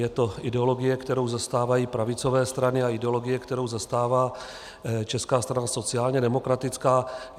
Je to ideologie, kterou zastávají pravicové strany, a ideologie, kterou zastává Česká strana sociálně demokratická.